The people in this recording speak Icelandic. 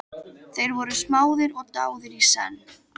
Þeir voru smáðir og dáðir í senn.